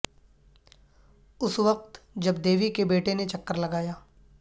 اس وقت جب دیوی کے بیٹے نے چکر لگایا